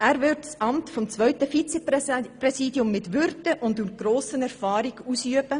Er würde das Amt des zweiten Vizepräsidiums mit Würde und grosser Erfahrung ausüben.